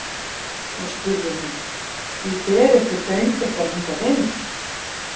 Þá spurði hún: „Því berið þið föng ykkar hingað inn“?